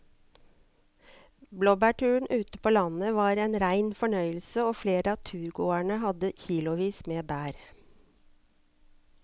Blåbærturen ute på landet var en rein fornøyelse og flere av turgåerene hadde kilosvis med bær.